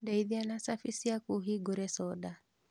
Ndeithia na cabi ciaku hingũre soda